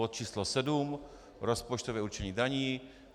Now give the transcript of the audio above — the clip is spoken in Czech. Bod číslo 7 - rozpočtové určení daní.